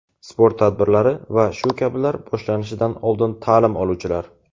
sport tadbirlari va shu kabilar) boshlanishidan oldin ta’lim oluvchilar:.